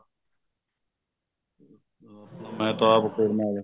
ਮਿਹਤਾਬ ਕੌਰ ਨਾਲ